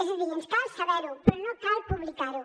és a dir ens cal saber ho però no cal publicar ho